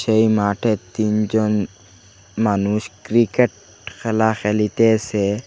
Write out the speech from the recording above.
এই মাঠে তিনজন মানুষ ক্রিকেট খেলা খেলিতেসে।